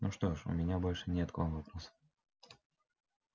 ну что ж у меня больше нет к вам вопросов